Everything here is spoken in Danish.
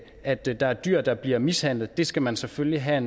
at der er dyr der bliver mishandlet det skal man selvfølgelig have